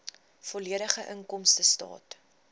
volledige inkomstestaat